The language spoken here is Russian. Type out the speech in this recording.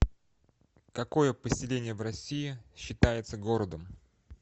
какое поселение в россии считается городом